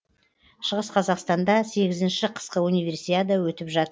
шығыс қазақстанда сегізінші қысқы универсиада өтіп жатыр